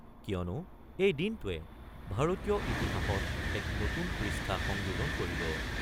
কিয়নো এই দিনটোৱে ভাৰতীয় ইতিহাসত এটা নতুন পৃষ্ঠা সংযোজন কৰিব।